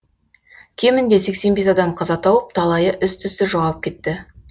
кемінде сексен бес адам қаза тауып талайы із түзсіз жоғалып кетті